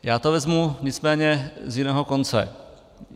Já to vezmu nicméně z jiného konce.